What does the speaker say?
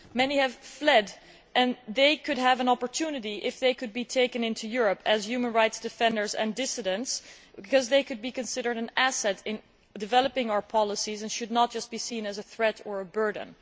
Many have fled and they could have an opportunity if they could be taken into Europe as human rights defenders and dissidents. They could be considered an asset in developing our policies and should not just be seen as a threat or a burden.